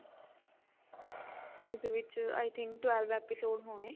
ਉਹਦੇ ਵਿੱਚ i think twelve episode ਹੋਣੇ